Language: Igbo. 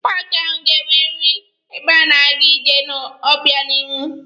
Paaki ahụ ga-enweriri ebe a na-aga ije n'obịanihu.